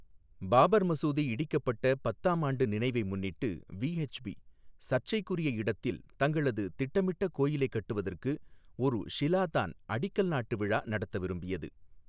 பாபர் மசூதி இடிக்கப்பட்ட பத்தாம் ஆண்டு நினைவை முன்னிட்டு, விஎச்பி சர்ச்சைக்குரிய இடத்தில் தங்களது திட்டமிட்ட கோயிலைக் கட்டுவதற்கு ஒரு ஷிலா தான் அடிக்கல் நாட்டு விழா நடத்த விரும்பியது.